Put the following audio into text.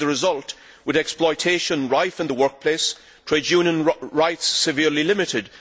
This is the result, with exploitation rife in the workplace and trade union rights severely limited.